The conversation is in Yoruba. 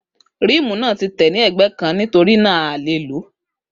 Ríímù náà tí tẹ̀ ní ègbé kàn nítorínà a ko le lo